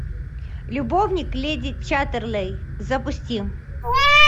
любовник леди чаттерлей запусти